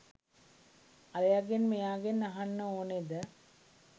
අරයගෙන් මෙයාගෙන් අහන්න ඕනෙද?